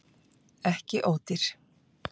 Ekki ódýr